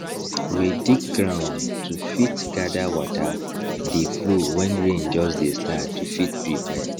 we dig ground to fit gather water dey flow wen rain just dey start to fit prepare